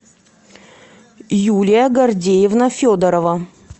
юлия гордеевна федорова